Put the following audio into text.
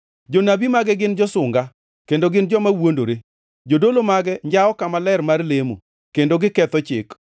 Jonabi mage gin josunga, kendo gin joma wuondore. Jodolo mage njawo kama ler mar lemo, kendo giketho chik.